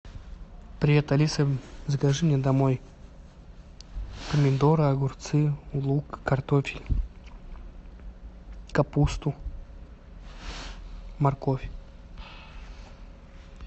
привет алиса закажи мне домой помидоры огурцы лук картофель капусту морковь